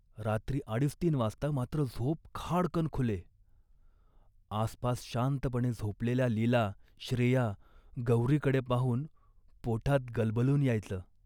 रात्री अडीचतीन वाजता मात्र झोप खाडकन खुले. " आसपास शांतपणे झोपलेल्या लीला, श्रेया, गौरीकडे पाहून पोटात गलबलून यायचं